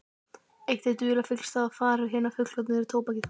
Eitt hið dularfyllsta í fari hinna fullorðnu er tóbakið.